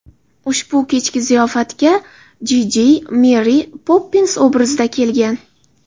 Ushbu kechki ziyofatga Jiji, Meri Poppins obrazida kelgan.